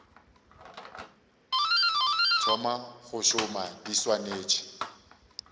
thoma go šoma di swanetše